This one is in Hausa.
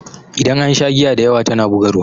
Idan an sha giya dayawa tana bugarwa.